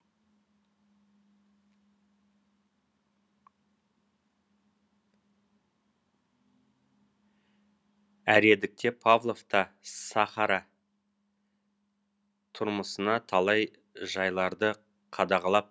әредікте павлов та сахара түрмысына талай жайларды қадағалап